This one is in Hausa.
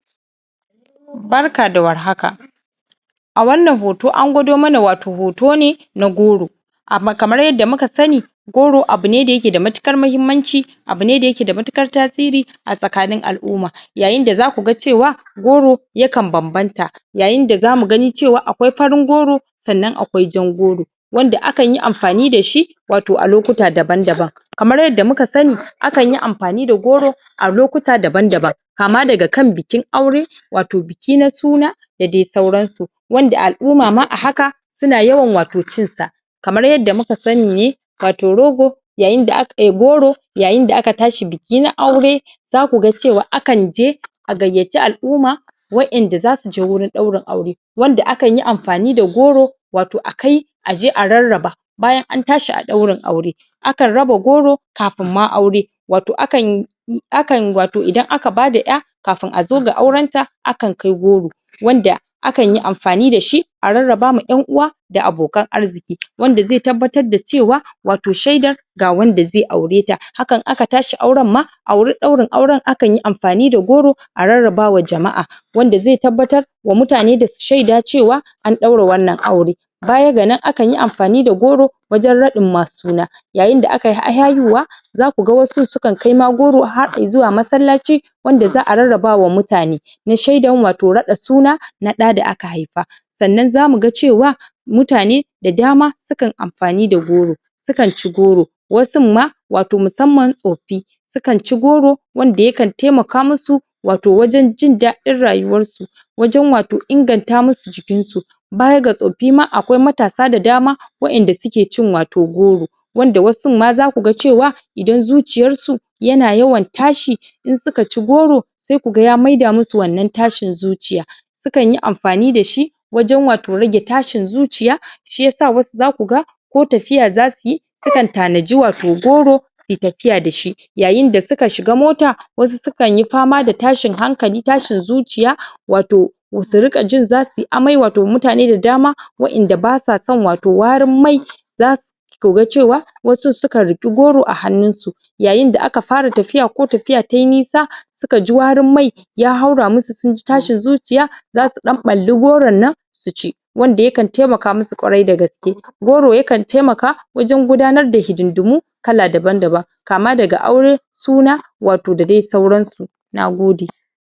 barka da war haka a wannan hoto an gwado mana wato hoto ne na goro kamar yadda muka sani goro abune da yake da matukar mahimmanci abune da yake da matukar tasiri a tskanin al'umma yayin da zaku ga cewa goro yakan banbanta yayin da zamu gani cewa akwai farin goro sannan akwai jan goro wanda akanyi amfani dashi wato a lokuta daban daban kamar yadda muka sani akanyi amfani da goro a lokuta daban daban kama daga kan bikin aure wato biki na suna da dai sauran su wanda al'umma ma a haka suna yawan wato cin sa kamar yadda muka sani ne wato rogo yayin da aka um goro yain da aka tashi biki na aure zaku ga cewa akan je a gayyaci al'umma wa'enda zasu je wurin daurin aure wanda akanyi amfani da goro wato a kai aje a rarraba bayan antashi a daurin aure akan raba goro kafun ma aure wato akan akan wato idan aka bada 'ya kaun a zo ga auren ta akan kai goro wanda akanyi amfani dashi a rarraba wa en'uwa da abokan arziki wanda zai tabbatar da cewa wato shaidar ga wanda zai aure ta hakan aka tashi auren ma a wurin daurin auren akanyi amfani da goron a rarraba wa jama'a wanda zai tabbatar da mutane da su shaida cewa an daura wannan aure baya ga nan akanyi amfani da goro wajen radin wa suna yayin da akayi haihuwa zaku ga wasu sukan kai ma goro har zuwa masallaci wanda za'a rarrabawa mutane na shaidan wato rada suna na daa da aka haifa sannan zamu ga cewa mutane da dama sukan amfani da goro su kan ci goro wasun ma wato musamman tsofi su kan ci goro wanda yakan taimaka musu wato wajen jindadin rayuwan su wajen wato inganta musu jikin su baya ga tsofaffi akwai matasa da dama wa'enda suke cin wato goro wanda wasun ma zaku ga cewa idan zuciyar su yana yawan tashi in suka ci goro sai ku ga ya maida musu wannan tashin zuciya sukanyi amfani dashi wajen wato rage tashin zuciya shiya wasu zakuga ko tafiya za suyi sukan tanaji wato goro suyi tafiya dashi yayin da suka shiga mota wasu sukanyi fama da tashin hankali tashin zuciya wato su ringa jin zasuyi amai wato mutane da dama wa'enda basuwa son wato warin mai zasu zaku ga cewa wasun sukan rike goro a hannun su yayi da aka fara tasiya ko tafiya tayi nisa suka ji warin mai ya haura musu sunji tashin zuciya zasu dan palli goron nan su ci wanda yakan taimaka musu kwarai dagaske goro yakan taimaka wajan gudanar da hidindimu kala daban daban kama daga aure suna wato da dai suran su nagode